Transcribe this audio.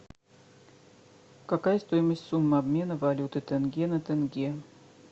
какая стоимость суммы обмена валюты тенге на тенге